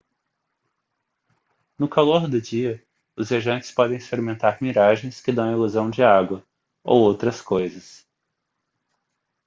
no calor do dia os viajantes podem experimentar miragens que dão a ilusão de água ou outras coisas